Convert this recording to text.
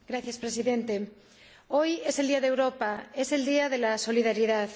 Señor Presidente, hoy es el Día de Europa, es el día de la solidaridad.